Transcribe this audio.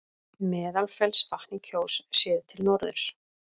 Meðalfellsvatn í Kjós, séð til norðurs.